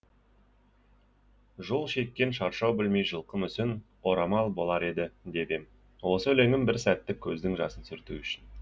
жол шеккен шаршау білмей жылқы мүсін орамал болар еді деп ем осы өлеңім бір сәттік көздің жасын сүрту үшін